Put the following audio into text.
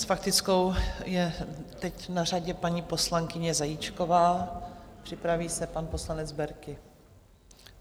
S faktickou je teď na řadě paní poslankyně Zajíčková, připraví se pan poslanec Berki.